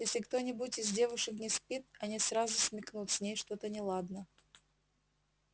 если кто-нибудь из девушек не спит они сразу смекнут с ней что-то неладно